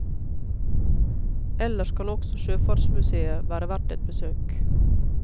Ellers kan også sjøfartsmusèet være verdt et besøk.